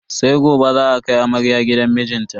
Sai gobe za a kai amarya gidan mijinta.